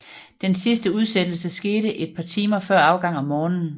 Den sidste udsættelse skete et par timer før afgang om morgenen